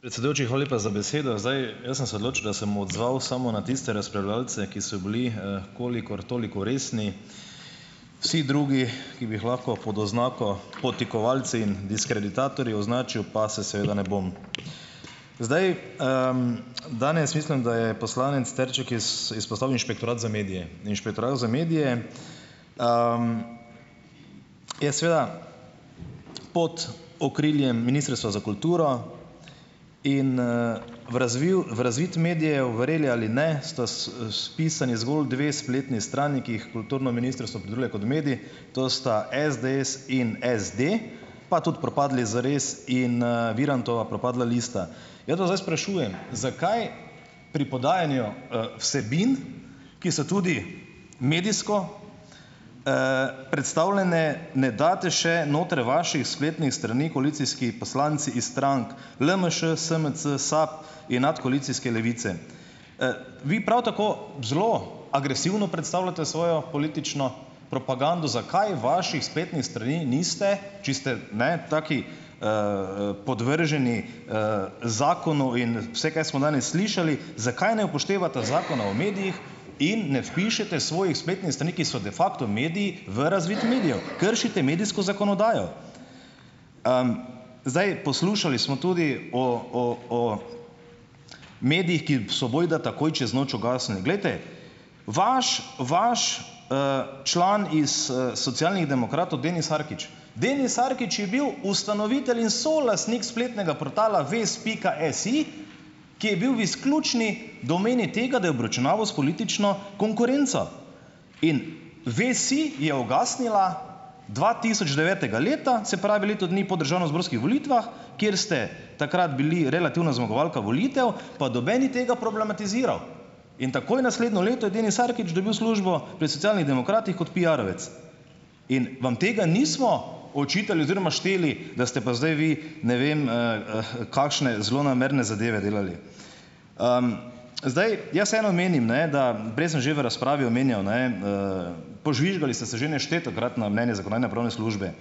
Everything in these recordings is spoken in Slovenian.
Predsedujoči, hvala lepa za besedo. Zdaj. Jaz sem se odločil, da se bom odzval samo na tiste razpravljavce, ki so bili, kolikor toliko resni. Vsi drugi, ki bi jih lahko pod oznako podtikovalci in diskreditatorji označil, pa se seveda ne bom. Zdaj, Danes mislim, da je poslanec Trček izpostavil inšpektorat za medije. Inšpektorat za medije, je seveda pod okriljem ministrstva za kulturo. In, v razviv razvid medijev, verjeli ali ne, sta, vpisani zgolj dve spletni strani, ki jih kulturno ministrstvo opredeljuje kot medij, to sta SDS in SD, pa tudi propadli Zares in, Virantova propadla lista. Jaz vas zdaj sprašujem, zakaj pri podajanju, vsebin, ki so tudi medijsko, predstavljene, ne date še notri vaših spletnih strani koalicijski poslanci iz strank LMŠ, SMC, SAB in nadkoalicijske Levice. Vi prav tako zelo agresivno predstavljate svojo politično propagando. Zakaj vaših spletnih strani niste, če ste ne taki, podvrženi, zakonu in vse, kar smo danes slišali, zakaj ne upoštevate Zakona o medijih in ne vpišete svojih spletnih strani, ki so de facto mediji, v razvid medijev. Kršite medijsko zakonodajo. Zdaj. Poslušali smo tudi o, o, o medijih, ki so bojda takoj čez noč ugasnili. Glejte, vaš, vaš, član iz, Socialnih demokratov Denis Arkič, Denis Sarkić je bil ustanovitelj in solastnik spletnega portala vest pika si, ki je bil v izključni domeni tega, da je obračunaval s politično konkurenco. In Vest si je ugasnila dvatisočdevetega leta, se pravi leto dni po državnozborskih volitvah, kjer ste takrat bili relativna zmagovalka volitev, pa noben ni tega problematiziral. In takoj naslednjo leto je Denis Sarkić dobil službo pri Socialnih demokratih kot piarovec. In vam tega nismo očitali oziroma šteli, da ste pa zdaj vi, ne vem, kakšne zlonamerne zadeve delali. Zdaj. Jaz vseeno menim, ne, da prej sem že v razpravi omenjal, ne, požvižgali ste že neštetokrat na mnenje zakonodajno-pravne službe,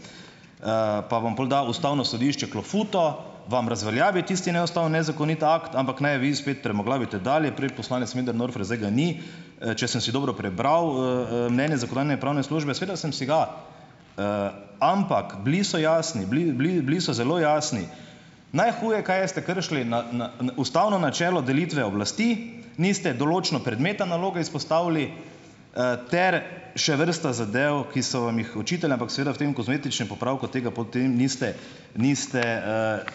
pa vam pol da ustavno sodišče klofuto, vam razveljavi tisti neustavni, nezakoniti akt, ampak ne, vi spet trmoglavite dalje. Prej je poslanec Möderndorfer, zdaj ga ni, če sem si dobro prebral, mnenje zakonodajno-pravne službe. Seveda sem si ga. Ampak bili so jasni, bili, bili, bili so zelo jasni, najhuje, kaj je ste kršili ustavno načelo delitve oblasti, niste določno predmeta naloge izpostavili, ter še vrsta zadev, ki so vam jih očitali, ampak seveda v tem kozmetičnem popravku tega potem niste niste,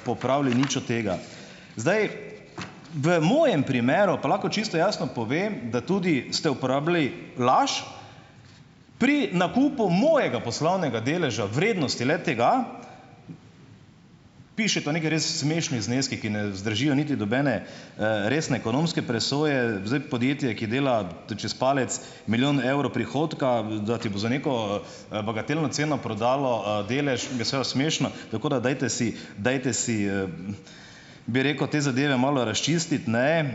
popravili nič od tega . Zdaj. V mojem primeru, pa lahko čisto jasno povem, da tudi ste uporabili laž, pri nakupu mojega poslovnega deleža, vrednosti le-tega, piše, to neki res smešni zneski, ki ne vzdržijo niti nobene, resne ekonomske presoje. Zdaj. Podjetje, ki dela, to čez palec, milijon evrov prihodka, da ti bo za neko, bagatelno ceno prodalo, delež, je seveda smešno. Tako da, dajte si, te dajte si, bi rekel, te zadeve malo razčistiti, ne,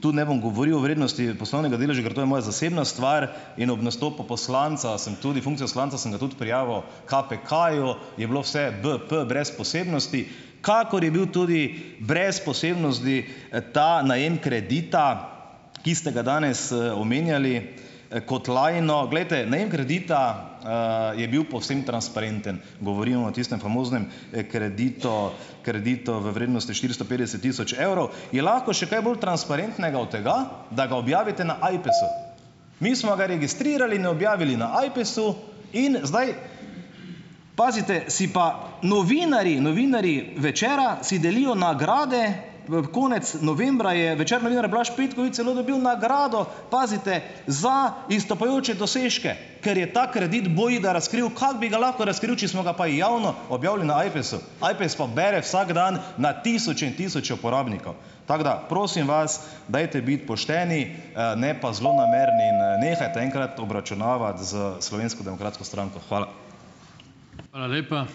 Tu ne bom govoril o vrednosti poslovnega deleža, ker to je moja zasebna stvar. In ob nastopu poslanca sem tudi funkcijo poslanca, sem ga tudi prijavil KPK-ju. Je bilo vse bp, brez posebnosti, kakor je bil tudi brez posebnosti, ta najem kredita, ki ste ga danes, omenjali, kot lajno. Glejte, najem kredita, je bil povsem transparenten. Govorim o tistem famoznem, kredito kreditu v vrednosti štiristo petdeset tisoč evrov. Je lahko še kaj bolj transparentnega od tega, da ga objavite na AJPES-u. Mi smo ga registrirali in objavili na AJPES-u. In zdaj, pazite, si pa novinarji novinarji Večera si delijo nagrade, v v konec novembra je Večer novinar Blaž Petkovič celo dobil nagrado, pazite, za izstopajoče dosežke, ker je ta kredit bojda razkril. Kako bi ga lahko razkril, če smo ga pa javno objavili na AJPES-u. AJPES pa bere vsak dan na tisoče in tisoče uporabnikov. Tako da, prosim vas, dajte biti pošteni, ne, pa zlonamerni in nehajte enkrat obračunavati s Slovensko demokratsko stranko. Hvala.